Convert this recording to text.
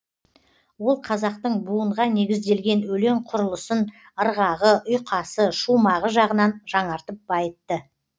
ол қазақтың буынға негізделген өлең құрылысын ырғағы ұйқасы шумағы жағынан жаңартып байытты